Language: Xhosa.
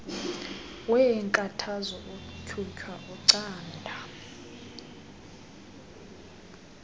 weenkathazo utyhutyha ucanda